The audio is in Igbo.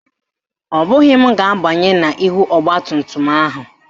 Ọ bụghị m ga-abanye n'ihu ọgbatumtum ahụ